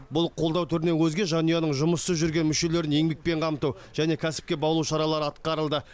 бұл қолдау түрінен өзге жанұяның жұмыссыз жүрген мүшелерін еңбекпен қамту және кәсіпке баулу шаралары атқарылды